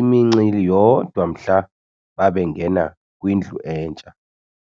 imincili yodwa mhla babengena kwindlu entsha